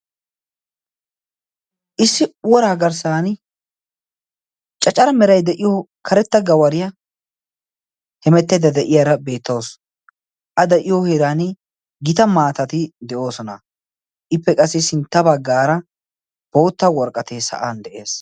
Issi uworaa garssan cacara merai de'iyo karetta gawariyaa hemettaydda de'iyaara beettawusu. A de'iyo heeran gita maatati de'oosona. Ippe qassi sintta baggaara bootta worqqatay sa'an de'ees.